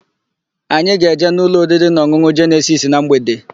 Anyị ga-eje n'ụlọ oririnaọn̄ụn̄ụ Jenesis na mgbede.